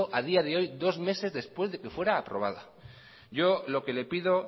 a día de hoy dos meses después de que fuera aprobado yo lo que le pido